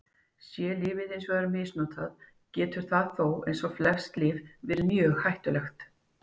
Sé lyfið hins vegar misnotað getur það þó, eins og flest lyf, verið mjög hættulegt.